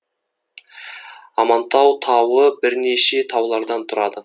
амантау тауы бірнеше таулардан тұрады